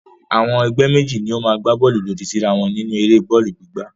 Àwọn ẹgbẹ́ méjì ni ó máa gbá bọ́ọ́lù lòdì síra wọn nínú eré bọ́ọ́lù gbígbá.